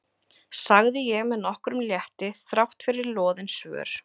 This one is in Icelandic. sagði ég með nokkrum létti þráttfyrir loðin svör.